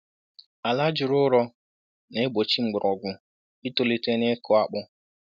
Ala juru ụrọ na-egbochi mgbọrọgwụ itolite n’ịkụ akpu